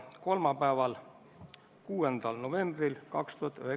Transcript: Kõik komisjoni liikmed osalesid sellel istungil, kõik olid kohal.